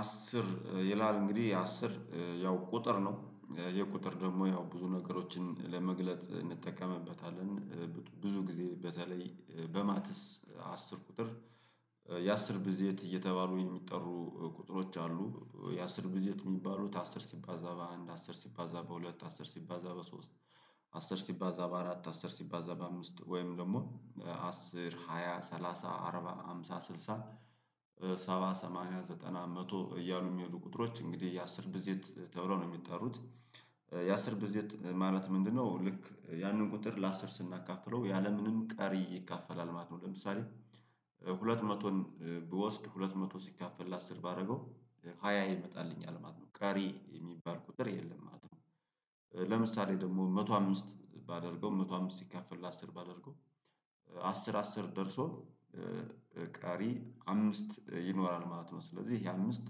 አስር ይላል እንግዲህ አስር ያው ቁጥር ነው የቁጥር ደግሞ ያው ብዙ ነገሮችን ለመግለጽ እንጠቀምበታለን። ብዙ ጊዜ በተለይ በማትስ አስር ቁጥር። የአስር ብዝየት እየተባሉ የሚጠሩ ቁጥሮች አሉ የአስር ብዝየት የሚባሉት አስር ሲባዛ በአንድ አስር ሲባዛ በሁለት አስር ሲባዛ በሶስት አስር ሲባዛ በአራት አስር ሲባዛ በአምስት ወይም ደግሞ አስር ሃያ ሰላሳ አርባ ሃምሳ ስልሳ ሰባ ሰማንያ ዘጠና መቶ እያሉ የሚሄዱ ቁጥሮች እንግዲህ የአስር ብዝየት ተብሎ ነው የሚጠሩት። የአስር ብዝየት ማለት ምንድነው? ልክ ያንን ቁጥር ለአስር ስናካፍለው ያለምንም ቀሪ ይካፈላል ማለት ነው። ለምሳሌ ሁለት መቶን ብወስድ ሁለት መቶ ሲካፈል ለአስር ባደረገው ሃያ ይመጣልኝ ማለት ነው ቀሪ የሚባል ቁጥር የለም ማለት ነው። ለምሳሌ ደግሞ መቶ አምስት ባደርገው መቶ አምስት ሲካፈል ለአስር ባደርገው አስር አስር ደርሶ ቀሪ አምስት ይኖራል ማለት ነው። ስለዚህ ያ አምስት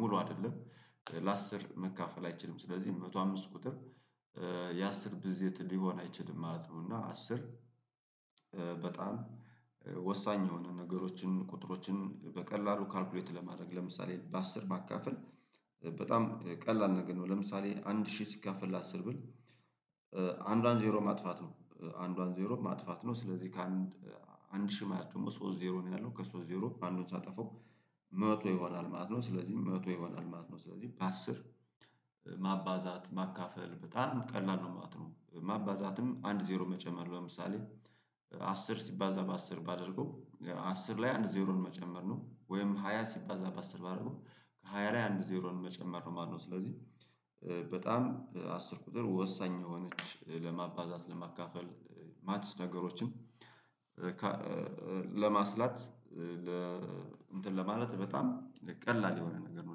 ሙሉ አይደለም ለአስር መካፈል አይችልም ስለዚህ መቶ አምስት ቁጥር የአስር ብዝየት ሊሆን አይችልም ማለት ነው። እና አስር በጣም ወሳኝ የሆነ ነገሮችን ቁጥሮችን በቀላሉ ካልኩሌት ለማድረግ ለምሳሌ በአስር ማካፈል በጣም ቀላል ነገር ነው። ለምሳሌ አንድ ሺህ ሲካፈል ለአስር ብል አንዷን ዜሮ ማጥፋት ነው አንዷን ዜሮ ማጥፋት ነው። ስለዚህ ከአንድ አንድ ሺህ ማየት ደግሞ ሶስት ዜሮ ነው ያለው ከሶስት ዜሮ አንዱ ሳጠፋው መቶ ይሆናል ማለት ነው ስለዚህ መቶ የሆናል ማለት ነው። ስለዚህ በአስር ማባዛት ማካፈል በጣም ቀላል ነው ማለት ነው። ማባዛትም አንድ ዜሮ መጨመር ለምሳሌ አስር ሲባዛ በአስር ባደርገው አስር ላይ አንድ ዜሮን መጨመር ነው ወይም ሃያ ሲባዛ በአስር ባደረገው ሃያ ላይ አንድ ዜሮን መጨመር ነው ማለት ነው። ስለዚህ በጣም አስር ቁጥር ወሳኝ የሆነች ለማባዛት ለማካፈል ማትስ ነገሮችን ለማስላት ለ እንትን ለማለት በጣም ቀላል የሆነ ነገር ነው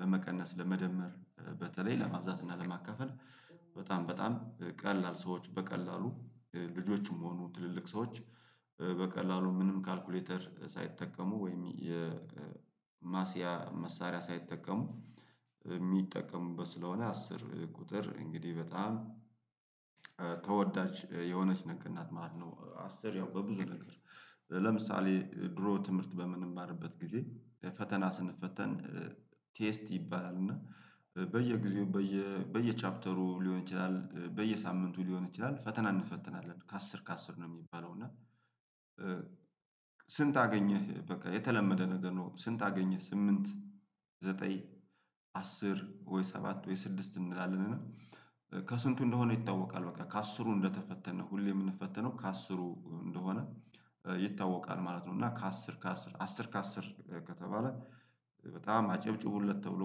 ለመቀነስ ለመደመር በተለይ ለማብዛት እና ለማካፈል በጣም በጣም ቀላል ሰዎች በቀላሉ ልጆችም ሆኑ ትልልቅ ሰዎች በቀላሉ ምንም ካልኩሌተር ሳይጠቀሙ ወይም የማሲያ መሳሪያ ሳይጠቀሙ የሚጠቀሙበት ስለሆነ አስር ቁጥር እንግዲህ በጣም ተወዳጅ የሆነች ነገር ናት ማለት ነው። አስር ያው በብዙ ነገር ለምሳሌ ድሮ ትምህርት በምንማርበት ጊዜ ፈተና ስንፈተን ቴስት ይባላል እና በየጊዜው በየ ቻፕተሩ ሊሆን ይችላል በየሳምንቱ ሊሆን ይችላል ፈተና እንፈትናለን ከአስር ከአስር ነው የሚባለው እና። ስንት አገኘህ በቃ የተለመደ ነገር ነው። ስንት አገኘህ ስምንት ዘጠኝ አስር ወይ ሰባት ወይ ስድስት እንላለን? ከስንቱ እንደሆነ ይታወቃል በቃ ከአስሩ እንደተፈተነ ሁሌ የምንፈተነው ከአስሩ እንደሆነ ይታወቃል ማለት ነው። እና ከአስር ከአስር አሥር ከአስር ከተባለ በጣም አጨብጭቡለት ተብሎ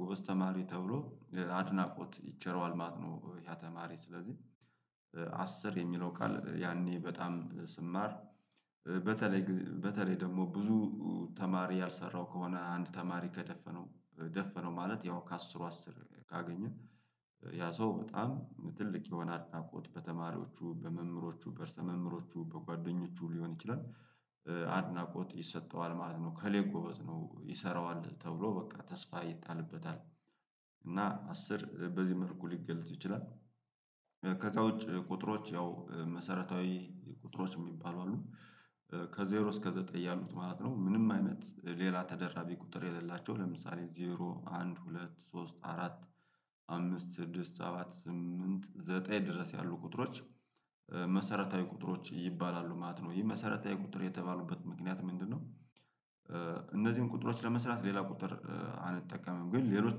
ጎበዝ ተማሪ ተብሎ አድናቆት ይቸረዋል ማለት ነው። ያ ተማሪ ስለዚህ አስር የሚለው ቃል ያኔ በጣም ስማር በተለይ በተለይ ደግሞ ብዙ ተማሪ ያልሰራው ከሆነ አንድ ተማሪ ከደፈነው ደፈነው ማለት ያው ከአስሩ አስር ካገኘ ያ ሰው በጣም ትልቅ የሆነ አድናቆት በተማሪዎቹ በመምህሮቹ በእርሰ መምህሮቹ በጓደኞቹ ሊሆን ይችላል አድናቆት ይሰጠዋል ማለት ነው። ከሌ ጎበዝ ነው ይሰራዋል ተብሎ በቃ ተስፋ ይጣልበታል እና አስር በዚህ መልኩ ሊገለጥ ይችላል። ከዛ ውጪ ቁጥሮች ያው መሰረታዊ ቁጥሮች የሚባሉ አሉ ከዜሮ እስከ ዘጠኝ ያሉት ማለት ነው ምንም አይነት ሌላ ተደራቢ ቁጥር የሌላቸው ለምሳሌ ዜሮ አንድ ሁለት ሶስት አራት አምስት ስድስት ሰባት ስምንት ዘጠኝ ድረስ ያሉ ቁጥሮች መሰረታዊ ቁጥሮች ይባላሉ ማለት ነው። ይህ መሰረታዊ ቁጥር የተባሉበት ምክንያት ምንድነው? እነዚህን ቁጥሮች ለመስራት ሌላ ቁጥር አንጠቀምም ግን ሌሎች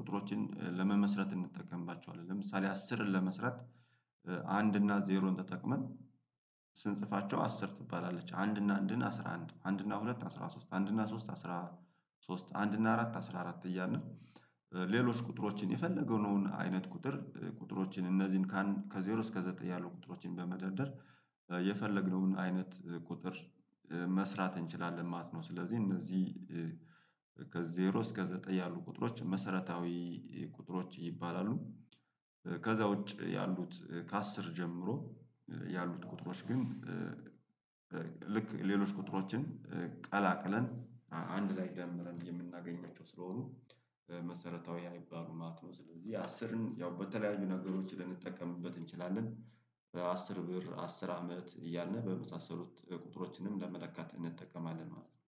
ቁጥሮችን ለመመስረት እንጠቀምባቸዋለን። ለምሳሌ አስርን ለመስረት አንድ እና ዜሮን ተጠቅመን ስንጽፋቸው አስር ትባላለች አንድና አንድን አስራ አንድ አንድና ሁለት አስራ ሶስት አንድና ሶስት አስራ ሶስት አንድ እና አራት አስራ አራት እያና ሌሎች ቁጥሮችን የፈለገው ነው አይነት ቁጥር ቁጥሮችን እነዚህን ከዜሮ እስከ ዘጠኝ ያሉ ቁጥሮችን በመደርደር የፈለግነውን አይነት ቁጥር መስራት እንችላለን ማለት ነው። ስለዚህ እነዚህ ከዜሮ እስከ ዘጠኝ ያሉ ቁጥሮች መሰረታዊ ቁጥሮች ይባላሉ። ከዛ ውጪ ያሉት ከአስር ጀምሮ ያሉት ቁጥሮች ግን ልክ ሌሎች ቁጥሮችን ቀላቅለን አንድ ላይ ደምረን የምናገኛቸው ስለሆኑ መሰረታዊ አይባሉም ማለት ነው። ስለዚህ አስርን ያው በተለያዩ ነገሮች ልንጠቀምበት እንችላለን። በአስር ብር አስር አመት እያልን በመሳሰሉት ቁጥሮችንም ለመለካት እንጠቀማለን ማለት ነው